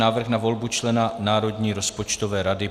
Návrh na volbu člena Národní rozpočtové rady